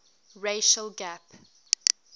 racial gap